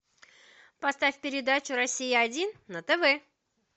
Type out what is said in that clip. поставь передачу россия один на тв